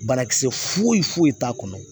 Banakisɛ foyi foyi t'a kɔnɔ